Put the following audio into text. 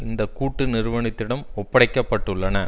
இந்த கூட்டு நிறுவனத்திடம் ஒப்படைக்கப்பட்டுள்ளன